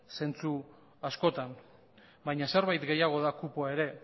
zentzu askotan baina zerbait gehiago da kupoa ere